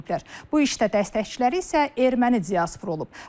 Bu işdə dəstəkçiləri isə erməni diasporudur.